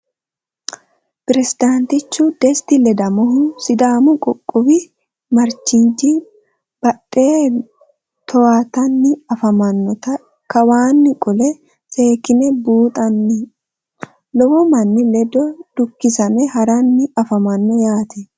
Pirezidaantichu desti ledamohu sidaamu qoqqowi marching baande towaatanni afammannotta kawaanni qolle seekkinne buunxanni. Lowo manni lede dukkisamme haranni affammanno yaatte